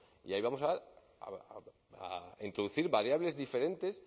y ahí vamos a introducir variables diferentes